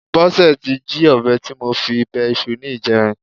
Bọ́sẹ̀ ti he ọ̀bẹ tí mo fi bẹ iṣu ní ìjẹrin.